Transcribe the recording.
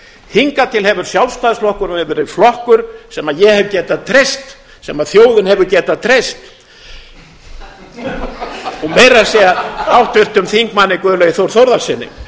hingað til hefur sjálfstæðisflokkurinn verið flokkur sem ég hef getað treyst sem þjóðin hefur getað treyst og meira að segja háttvirtum þingmanni guðlaugi þór þórðarsyni